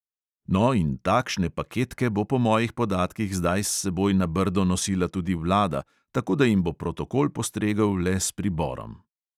No, in takšne paketke bo po mojih podatkih zdaj s seboj na brdo nosila tudi vlada, tako da jim bo protokol postregel le s priborom.